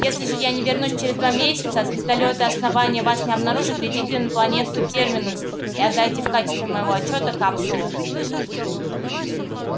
если же я не вернусь через два месяца а звездолёты основания вас не обнаружат летите на планету терминус и отдайте в качестве моего отчёта капсулу